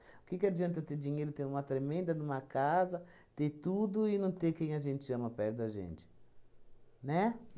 O que que adianta eu ter dinheiro, ter uma tremenda de uma casa, ter tudo e não ter quem a gente ama perto da gente? Né?